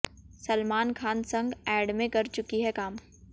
सलमान खान संग ऐड में कर चुकी हैं काम